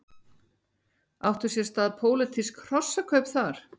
Áttu sér stað pólitísk hrossakaup þar?